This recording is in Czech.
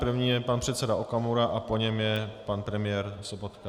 První je pan předseda Okamura a po něm je pan premiér Sobotka.